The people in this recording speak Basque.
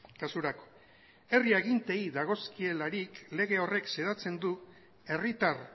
kasurako herri aginteei dagozkielarik lege horrek xedatzen du herritar